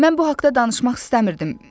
Mən bu haqda danışmaq istəmirdim.